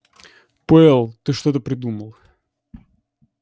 пауэлл ты что-то придумал